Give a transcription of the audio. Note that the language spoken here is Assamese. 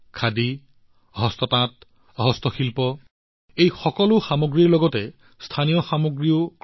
খাদী হস্ততাঁত হস্তশিল্প এই সকলো সামগ্ৰীৰ লগতে স্থানীয় সামগ্ৰী কিনক